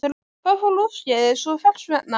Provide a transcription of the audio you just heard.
Hvað fór úrskeiðis og hvers vegna?